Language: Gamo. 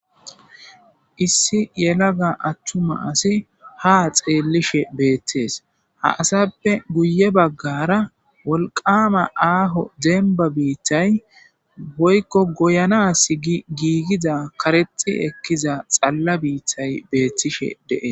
Issi yelaga attuma asi ha xeellishe beettees ha asappe guye baggara wolqama aaho denba biittay boykko goyanaas igiigiza karexi ekkiza xalla biittay beettishe dee